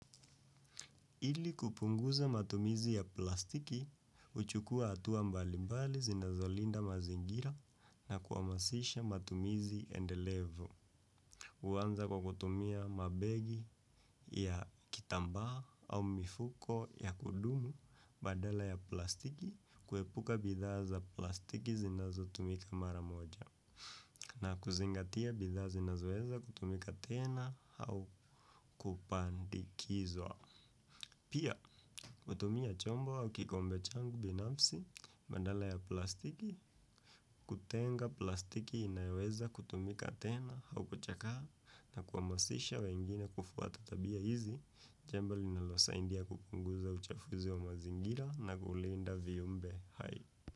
Ili kupunguza matumizi ya plastiki, uchukua atuwa mbali mbali zinazolinda mazingira na kuamasisha matumizi endelevu. Uwanza kwa kutumia mabegi ya kitambaa au mifuko ya kudumu badala ya plastiki kuepuka bidhaa za plastiki zinazo tumika maramoja na kuzingatia bidhaa zinazoweza kutumika tena au kupandizwa. Pia, kutumia chombo au kikombe changu binafsi, bandala ya plastiki, kutenga plastiki inaeweza kutumika tena au kuchakaa na kuamasisha wengine kufuata tabia hizi, jambo linalo saindia kupunguza uchafuzi wa mazingira na kulinda viumbe hai.